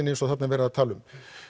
eins og þarna er verið að tala um